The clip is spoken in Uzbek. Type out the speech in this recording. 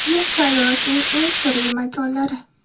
Yer sayyorasining eng sirli makonlari .